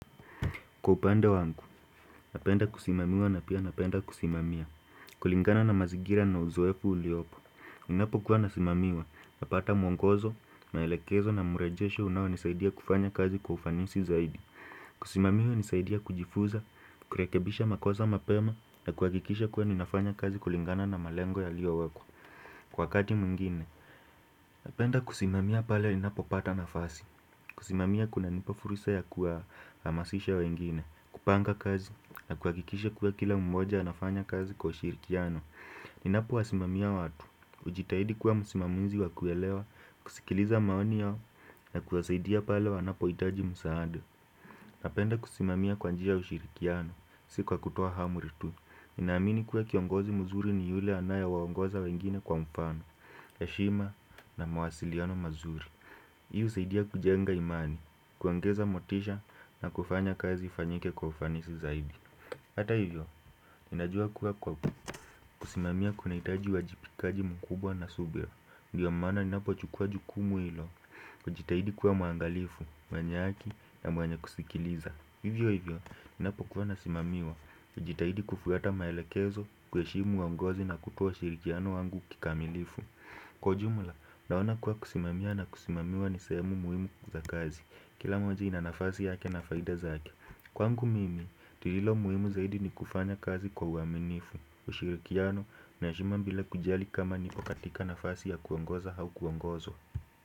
Kwa upande wangu, napenda kusimamiwa na pia napenda kusimamia kulingana na mazingira na uzoefu uliopo Ninapo kuwa nasimamiwa, napata mwongozo, maelekezo na murejesho unao nisaidia kufanya kazi kwa ufanisi zaidi Kusimamiwa hunisaidia kujifunza, kurekebisha makosa mapema na kuhakikisha kuwa ninafanya kazi kulingana na malengo yaliyo wekwa wakati mwingine Napenda kusimamia pale ninapo pata nafasi kusimamia kuna nipa fursa ya kuhamasisha wengine kupanga kazi na kuhakikisha kuwa kila mmoja anafanya kazi kwa ushirikiano Ninapo wasimamia watu hujitahidi kuwa msimamizi wa kuelewa kusikiliza maoni yao na kuwasaidia pale wanapo hitaji msaada Napenda kusimamia kwa njia ya ushirikiano Si kwa kutoa amri tu ninaamini kuwa kiongozi mzuri ni yule anaye waongoza wengine kwa mfano heshima na mawasiliano mazuri hii husaidia kujenga imani kuongeza motisha na kufanya kazi ifanyike kwa ufanisi zaidi Hata hivyo, ninajua kuwa kwa kusimamia kunahitaji uhajibikaji mkubwa na subira Ndiyo maana ninapo chukua jukumu ilo kujitahidi kuwa muangalifu, mwenye haki na mwenye kusikiliza Hivyo hivyo, ninapo kuwa nasimamiwa hujitahidi kufuata maelekezo, kuheshimu waongozi na kutoa ushirikiano wangu kikamilifu Kwa ujumla, naona kuwa kusimamia na kusimamiwa ni sehemu muhimu kwa kazi Kila moja ina nafasi yake na faida zake Kwangu mimi, lililo muhimu zaidi ni kufanya kazi kwa uaminifu ushirikiano, na heshima bila kujali kama niko katika nafasi ya kuongoza au kuongozwa.